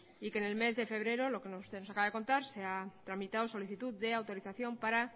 y que en el mes de febrero lo que usted nos acaba de contar se ha tramitado solicitud de autorización para